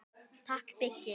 Takk Biggi.